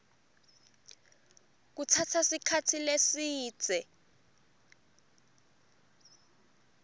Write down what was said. kutsatsa sikhatsi lesidze